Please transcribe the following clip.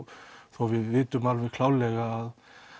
þó við vitum alveg klárlega